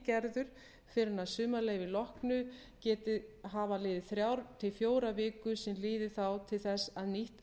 gerður fyrr en að sumarleyfi loknu geti hafa liðið þrjár til fjórar vikur sem líði þá til þess að nýtt